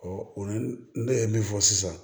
o ni ne ye min fɔ sisan